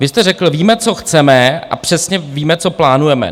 Vy jste řekl, víme, co chceme, a přesně víme, co plánujeme.